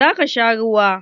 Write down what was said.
Zaka sha ruwa?